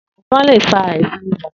Efòn lé fá àisán ìbá